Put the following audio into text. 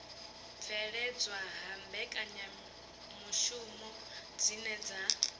bveledzwa ha mbekanyamishumo dzine dza